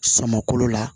Sama kolo la